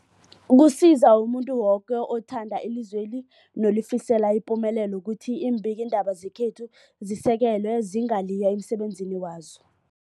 Kusiza umuntu woke othanda ilizweli nolifisela ipumelelo ukuthi iimbikiindaba zekhethu zisekelwe, zingaliywa emsebenzini wazo.